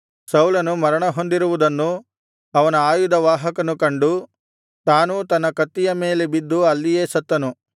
ಸೌಲನು ಮರಣ ಹೊಂದಿರುವುದನ್ನು ಅವನ ಆಯುಧವಾಹಕನು ಕಂಡು ತಾನೂ ತನ್ನ ಕತ್ತಿಯ ಮೇಲೆ ಬಿದ್ದು ಅಲ್ಲಿಯೇ ಸತ್ತನು